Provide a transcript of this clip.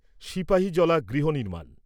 সিপাহীজলা গৃহ নির্মাণ